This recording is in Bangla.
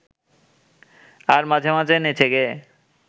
আর মাঝে মাঝে নেচে-গেয়ে